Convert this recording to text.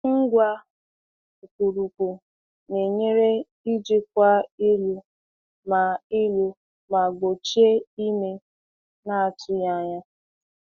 Ngwá ókpụrụkpụ na-enyere ijikwa ịlụ ma ịlụ ma gbochie ime na-atụghị anya.